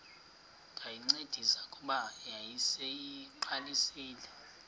ndayincedisa kuba yayiseyiqalisile